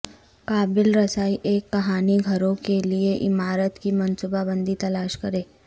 قابل رسائی ایک کہانی گھروں کے لئے عمارت کی منصوبہ بندی تلاش کریں